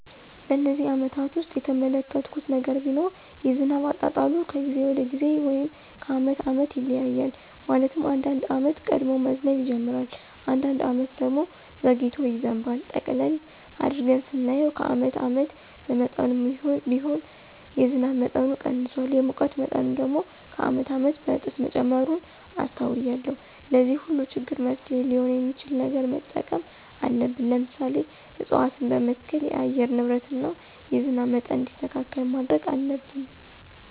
በነዚህ አመታት ውስጥ የተመለከትሁት ነገር ቢኖር የዝናብ አጣጣሉ ከጊዜ ወደ ጊዜ ወይም ከአመት አመት ይለያያል። ማለትም አንዳንድ አመት ቀድሞ መዝነብ ይጅምራል። አንዳንድ አመት ደግሞ ዘግይቶ ይዘንባል። ጠቅለል አድርገን ስናየው ከአመት አመት በመጠኑም ቢሆን የዝናብ መጠኑ ቀንሷል። የሙቀት መጠኑ ደግሞ ከአመት አመት በእጥፍ መጨመሩን አስተውያለሁ። ለዚህ ሁሉ ችግር መፍትሔ ሊሆን የሚችል ነገር መጠቀም አለብን። ለምሳሌ፦ እፅዋትን በመትከል የአየር ንብረትን እና የዝናብ መጠን እንዲስተካከል ማድረግ አለብን።